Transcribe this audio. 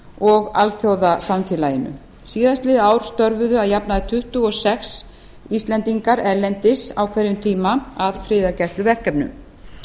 og alþjóðasamfélaginu síðastliðið ár störfuðu að jafnaði tuttugu og sex íslendingar erlendis á hverjum tíma að friðargæsluverkefnum